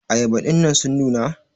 ayaba dinnan sun nuna?